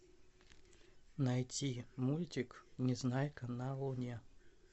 найти мультик незнайка на луне